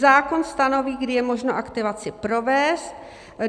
Zákon stanoví, kdy je možno aktivaci provést.